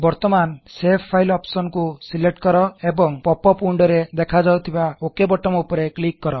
ବର୍ତମାନ save file option କୁ select କର ଏବଂ ପୋପ୍ ଅପ ୱିନଡୋ ରେ ଦେଖାଯାଉଥିବା ଓକ୍ ବୋଟୋମ ଉପରେ କ୍ଲିକ କର